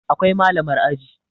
Akwai Malamar aji